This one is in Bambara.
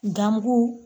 Gamugu